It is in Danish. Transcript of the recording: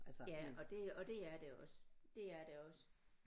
Ja og det og det er det også det er det også